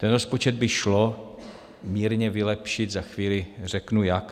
Ten rozpočet by šlo mírně vylepšit, za chvíli řeknu jak.